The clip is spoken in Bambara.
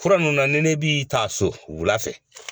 Fura ninnu na ni ne b'i taa so wula fɛ